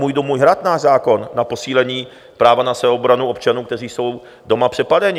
"Můj dům, můj hrad", náš zákon na posílení práva na sebeobranu občanů, kteří jsou doma přepadeni.